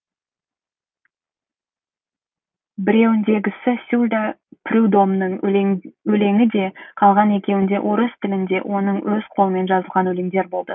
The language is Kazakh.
біреуіндегісі сюлла прюдомның өлеңі де қалған екеуінде орыс тілінде оның өз қолымен жазылған өлеңдер болды